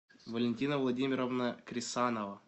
валентина владимировна крисанова